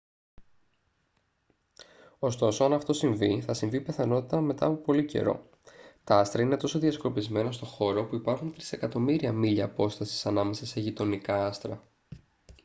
ωστόσο αν αυτό συμβεί θα συμβεί πιθανότατα μετά από πολύ καιρό. τα άστρα είναι τόσο διασκορπισμένα στο χώρο που υπάρχουν τρισεκατομμύρια μίλια απόστασης ανάμεσα σε «γειτονικά» άστρα